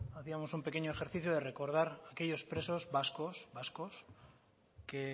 hacíamos un pequeño ejercicio de recordar aquellos presos vascos que